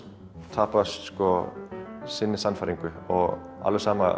tapa sinni sannfæringu alveg sama